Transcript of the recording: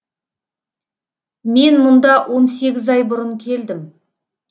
мен мұнда он сегіз ай бұрын келдім